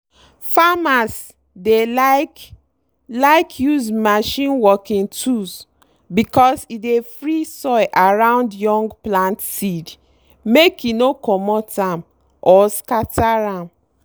farmers dey like like use machine working tools because e dey free soil around young plant seed make e no comot am or scatter am.